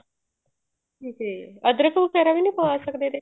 ਠੀਕ ਹੈ ਜੀ ਅਦਰਕ ਵਗੈਰਾ ਵੀ ਨੀ ਪਾ ਸਕਦੇ ਇਹਦੇ